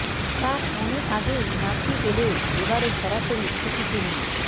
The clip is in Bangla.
তাঁর অনেক আগেই নাতনি পেলেও এ বারে সরাসরি খুকিকে নিয়ে